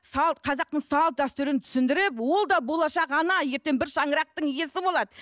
қазақтың салт дәстүрін түсіндіріп ол да болашақ ана ертең бір шаңырақтың иесі болады